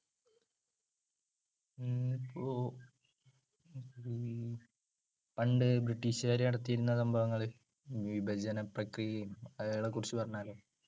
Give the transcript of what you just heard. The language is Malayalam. ഇന്നിപ്പോ പണ്ട് ബ്രിട്ടീഷുകാര് നടത്തിയിരുന്ന സംഭവങ്ങള്, വിഭജന പ്രക്രിയയും കുറിച്ച് പറഞ്ഞാലോ.